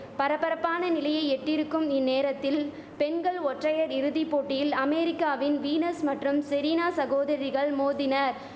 பரபரப்பான நிலையை எட்டியிருக்கும் இந்நேரத்தில் பெண்கள் ஒற்றையர் இறுதி போட்டியில் அமெரிக்காவின் வீனஸ் மற்றும் செரீனா சகோதரிகள் மோதினர்